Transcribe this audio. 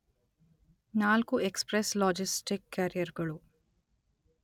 ನಾಲ್ಕು express logistic carrier ಗಳು